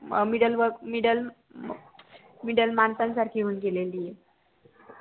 अं middle workmiddle middle माणसा सारखी होऊन गेलेली ये